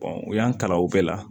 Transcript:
u y'an kalan o bɛɛ la